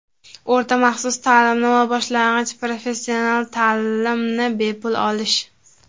o‘rta maxsus ta’limni va boshlang‘ich professional ta’limni bepul olish;.